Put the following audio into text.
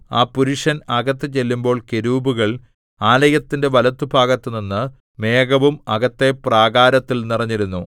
ആ പുരുഷൻ അകത്ത് ചെല്ലുമ്പോൾ കെരൂബുകൾ ആലയത്തിന്റെ വലത്തുഭാഗത്തുനിന്നു മേഘവും അകത്തെ പ്രാകാരത്തിൽ നിറഞ്ഞിരുന്നു